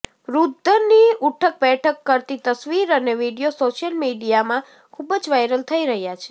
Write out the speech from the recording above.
વૃદ્ધની ઉઠક બેઠક કરતી તસવીર અને વીડિયો સોશિયલ મીડિયામાં ખૂબ જ વાયરલ થઇ રહ્યા છે